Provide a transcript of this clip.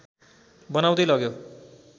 बनाउँदै लग्यो